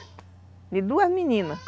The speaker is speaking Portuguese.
De duas meninas.